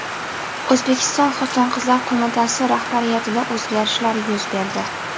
O‘zbekiston xotin-qizlar qo‘mitasi rahbariyatida o‘zgarishlar yuz berdi.